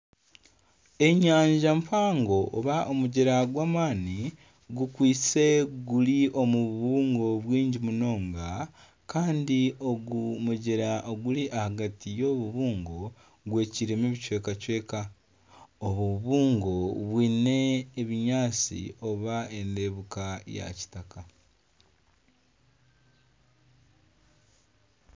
Enyanja mpango oba omugyera gw'amaani gukwitse guri omu bubungo bwingi munonga kandi ogu mugyera oguri ahagati y'obubungo gwecwiremu obucwekacweka. Obubungo bwine ebinyaatsi bwine endebeka ya kitaka.